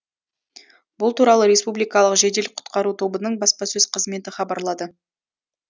бұл туралы республикалық жедел құтқару тобының баспасөз қызметі хабарлады